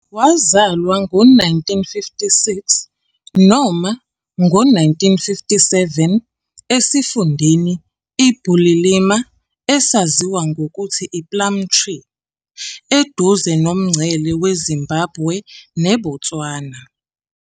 Wazalwa ngo-1956 noma ngo-1957 esifundeni iBulilima, esaziwa nangokuthi iPlumtree, eduze nomngcele weZimbabwe neBotswana.